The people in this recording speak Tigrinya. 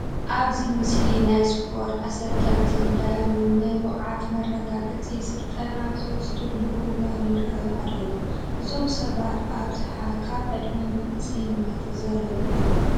ኣብዚ ምስሊ ናይ ስፖርት ኣሰልጠንትን ዳያኑን ናይ ብቅዓት መረጋገፂ ስልጠና ኣብ ዝወስድሉ እዋን ይርአዩ ኣለዉ፡፡ እዞም ሰባት ብኣብዝሓ ካብ ዕድመ መንእሰይነት ዝዘለሉ እዮም፡፡